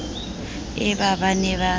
e ba ba ne ba